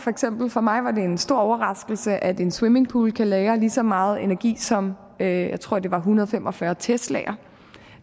for mig var det en stor overraskelse at en swimmingpool kan lagre lige så meget energi som jeg tror det var en hundrede og fem og fyrre teslaer